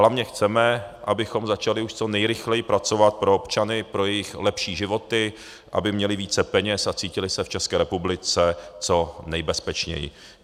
Hlavně chceme, abychom začali už co nejrychleji pracovat pro občany, pro jejich lepší životy, aby měli více peněz a cítili se v České republice co nejbezpečněji.